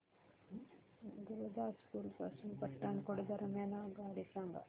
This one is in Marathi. गुरुदासपुर पासून पठाणकोट दरम्यान आगगाडी सांगा